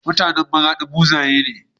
MutAnan maradi buzaye ne